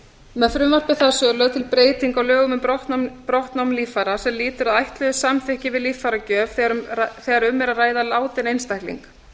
með frumvarpi þessu er lögð til breyting á lögum um brottnám líffæra sem lýtur að ætluðu samþykki við líffæragjöf þegar um er að ræða látinn einstakling